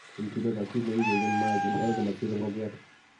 incubaror; kiit ne kigenyen mayaik en oret ne masiebe ngokiet.